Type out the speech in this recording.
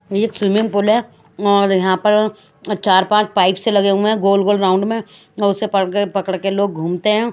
ये सुइमिंग-पुल है और यहाँ पर चार पाँच पाइप से लगे हुए है गोल गोल राउंड में और उसे परके पकड़ के लोग घूमते है।